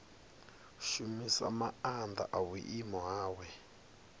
shumisa maanḓa a vhuimo hawe